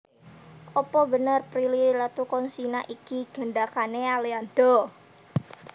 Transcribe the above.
Opo bener Prilly Latuconsina iki gendakane Aliando?